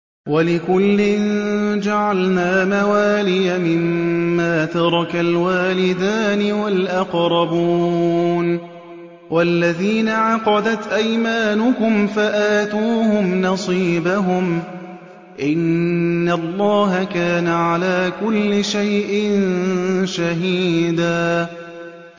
وَلِكُلٍّ جَعَلْنَا مَوَالِيَ مِمَّا تَرَكَ الْوَالِدَانِ وَالْأَقْرَبُونَ ۚ وَالَّذِينَ عَقَدَتْ أَيْمَانُكُمْ فَآتُوهُمْ نَصِيبَهُمْ ۚ إِنَّ اللَّهَ كَانَ عَلَىٰ كُلِّ شَيْءٍ شَهِيدًا